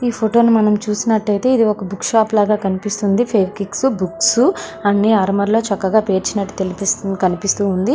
ఈ ఫోటో ని మనం చూసినట్లయితే ఒక బుక్ షాప్ లాగా కనిపిస్తుంది. బుక్స్ అన్ని అల్మారాల పేర్చినట్టుగా తెలుస్తుంది కనిపిస్తూ ఉంది.